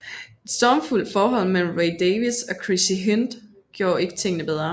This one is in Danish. Et stormfuldt forhold mellem Ray Davies og Chrissie Hynde gjorde ikke tingene bedre